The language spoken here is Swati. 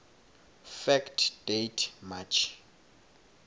fact date march